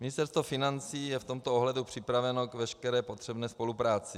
Ministerstvo financí je v tomto ohledu připraveno k veškeré potřebné spolupráci.